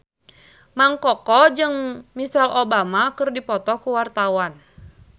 Mang Koko jeung Michelle Obama keur dipoto ku wartawan